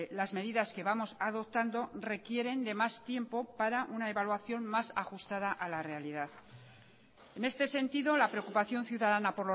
las medidas que vamos adoptando requieren de más tiempo para una evaluación más ajustada a la realidad en este sentido la preocupación ciudadana